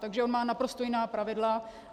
Takže on má naprosto jiná pravidla.